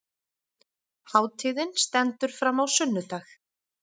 Hátíðin stendur fram á sunnudag